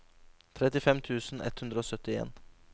trettifem tusen ett hundre og syttien